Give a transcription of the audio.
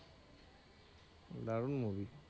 দারুন movie